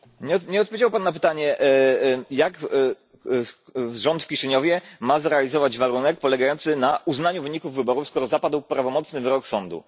Nie odpowiedział pan na pytanie, jak rząd w Kiszyniowie ma zrealizować warunek polegający na uznaniu wyników wyborów, skoro zapadł prawomocny wyrok sądu.